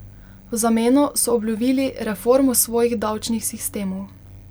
V zameno so obljubili reformo svojih davčnih sistemov.